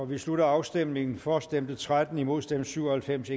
vi slutter afstemningen for stemte tretten imod stemte syv og halvfems